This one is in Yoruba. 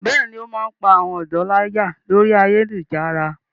Bẹ́ẹ̀ni, ó máa ń pá àwọn ọ̀dọ́ láyà lórí ayélujára.